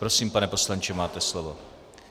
Prosím, pane poslanče, máte slovo.